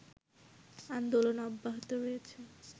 আন্দোলন অব্যাহত রয়েছে